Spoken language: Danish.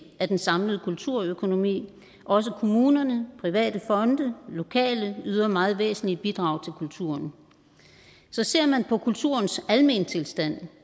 af den samlede kulturøkonomi også kommunerne private fonde lokale yder meget væsentlige bidrag til kulturen så ser man på kulturens almentilstand